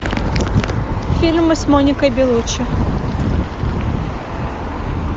фильмы с моникой беллуччи